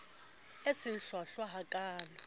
e se e hlwahlwa hakaalo